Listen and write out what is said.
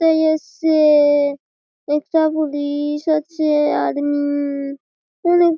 সেই এসছে-এ-এ একটা পুলি-ইশ আছে আর্মি -ই ওনেক--।